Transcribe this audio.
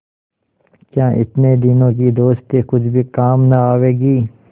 क्या इतने दिनों की दोस्ती कुछ भी काम न आवेगी